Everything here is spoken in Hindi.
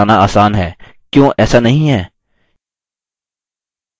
इस तरह के arrow बनाना आसान है क्यो ऐसा नहीं है